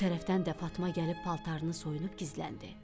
Bu tərəfdən də Fatma gəlib paltarını soyunub gizləndi.